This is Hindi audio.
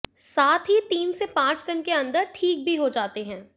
साथ ही तीन से पांच दिन के अंदर ठीक भी हो जाते हैं